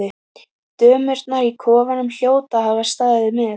Dömurnar í kofanum hljóta að hafa staðið með